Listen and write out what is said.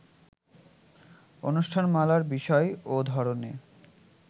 অনুষ্ঠানমালার বিষয় ও ধরনে